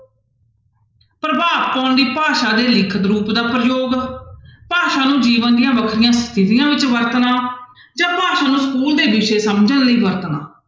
ਪ੍ਰਭਾਵ ਪਾਉਣ ਦੀ ਭਾਸ਼ਾ ਦੇ ਲਿਖਤ ਰੂਪ ਦਾ ਪ੍ਰਯੋਗ, ਭਾਸ਼ਾ ਨੂੰ ਜੀਵਨ ਦੀਆਂ ਵੱਖਰੀਆਂ ਵੱਖਰੀਆਂਂ ਸਥਿਤੀਆਂ ਵਿੱਚ ਵਰਤਣਾ ਜਾਂ ਭਾਸ਼ਾ ਨੂੰ school ਦੇ ਵਿਸ਼ੇ ਸਮਝਣ ਲਈ ਵਰਤਣਾ।